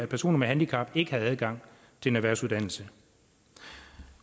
personer med handicap ikke havde adgang til en erhvervsuddannelse